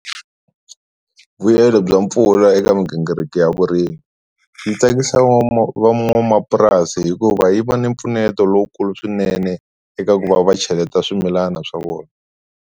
Vuyelo bya mpfula eka migingiriko ya vurimi yi tsakisa van'wamapurasi hikuva yi va ni mpfuneto lowukulu swinene eka ku va va cheleta swimilana swa vona.